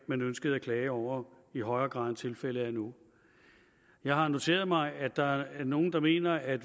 man ønskede at klage over i højere grad end tilfældet er nu jeg har noteret mig at der er nogle der mener at